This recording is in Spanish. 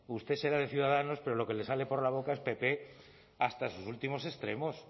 usted será de ciudadanos pero lo que le sale por la boca es pp hasta sus últimos extremos